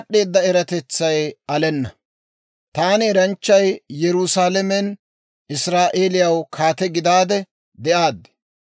Taani eranchchay, Yerusaalamen Israa'eeliyaw kaate gidaade de'aaddi.